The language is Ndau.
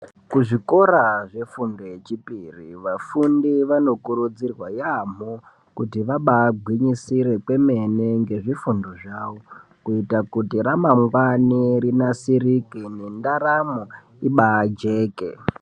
Kuzvikora zvefundo yechipiri vafundi vanokurudzirwa yaamho kuti vabagwinyisire kwemene ngezvifundo zvavo. Kuita kuti ramangwani rinasirike nendaramo ibajeke.